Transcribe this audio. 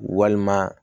Walima